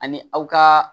Ani aw ka